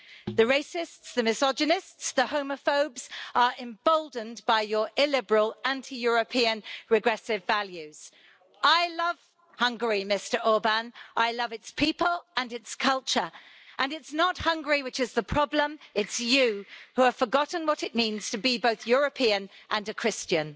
The racists, the misogynists and the homophobes are emboldened by your illiberal, anti European, regressive values. I love Hungary, Mr Orbán, I love its people and its culture, and it's not Hungary which is the problem it's you, who have forgotten what it means to be both European and a Christian.